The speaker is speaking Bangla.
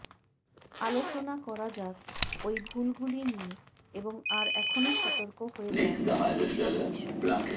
আলোচনা করা যাক ওই ভুলগুলি নিয়ে এবং আর এখনই সতর্ক হয়ে যান এই সব বিষয়ে